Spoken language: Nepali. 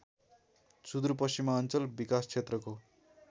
सुदूरपश्चिमाञ्चल विकास क्षेत्रको